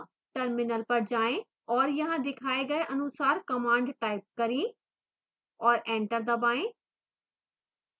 terminal पर जाएं और यहाँ दिखाए गए अनुसार command type करें और एंटर दबाएं